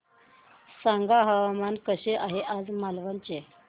सांगा हवामान कसे आहे आज मालवण चे